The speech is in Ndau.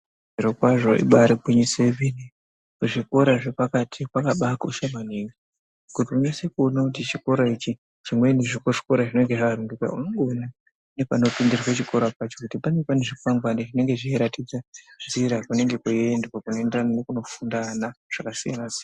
Zviro kwazvo ibari gwinyiso yemene kuzvikora zvepakati kwakabaa kosha maningi kuti unese kuone kuti chikora ichi chimweni chekuzvikora zvinenge zvawanduka unongoona nepanopindirwe chikora pacho kuti panenge panezvikwangwani zvinoratidza nzira kunenge kweiendwa kunoenderana nekunofunde ana zvakasiyana siyana.